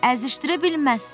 Əzişdirə bilməzsən.